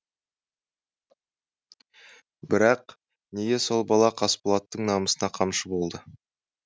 бірақ неге сол бала қасболаттың намысына қамшы болды